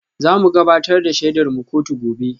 Za mu gabatar da shaidarmu kotu gobe